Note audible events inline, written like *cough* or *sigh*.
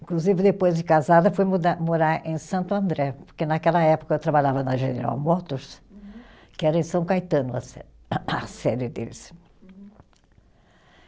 Inclusive, depois de casada, fui mudar, morar em Santo André, porque naquela época eu trabalhava na General Motors, que era em São Caetano, a se *coughs* a série deles.